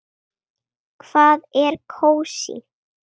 Hvað er kósí?